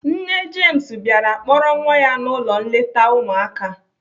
Nne James bịara kpọrọ nwa ya n'ụlọ nleta ụmụaka.